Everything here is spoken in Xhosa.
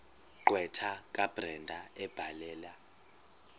gqwetha kabrenda ebhalela